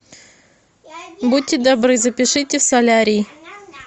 будьте добры запишите в солярий